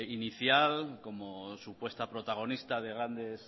inicial como supuesta protagonista de grandes